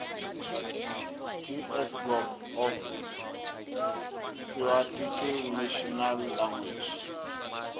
ts gov off tsoarticlenational language